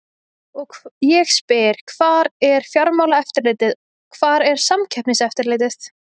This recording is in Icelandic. Og ég spyr hvar er Fjármálaeftirlitið, hvar er Samkeppniseftirlitið?